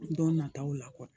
Don nataw la